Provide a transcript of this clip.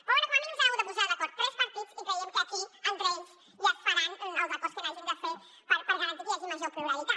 però bé com a mínim s’han hagut de posar d’acord tres partits i creiem que aquí entre ells ja es faran els acords que hagin de fer per garantir que hi hagi major pluralitat